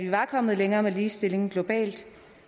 var kommet længere med ligestillingen globalt